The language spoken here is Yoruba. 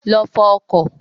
Lọ fọ ọkọ̀.